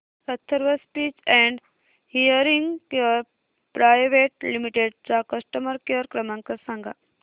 Atharva speech and hearing care private limited चा customer care क्रमांक सांगा